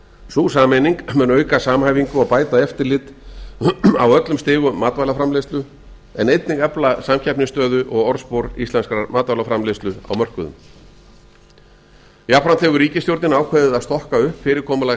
sú sameining mun auka samhæfingu ég bæta eftirlit aðilum stigum matvælaframleiðslu en einnig efla samkeppnisstöðu og orðspor íslenskrar matvælaframleiðslu mörkuðum jafnframt hefur ríkisstjórnin ákveðið að stokka upp fyrirkomulag